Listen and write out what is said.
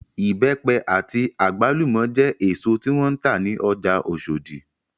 Ibẹ́pẹ àti àgbálùmọ́ jẹ́ èsò tí wọ́n ń tà ní ọjà Osodi